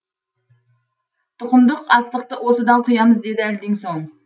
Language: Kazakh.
тұқымдық астықты осыдан құямыз деді әлден соң